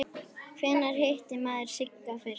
Hvenær hitti maður Sigga fyrst?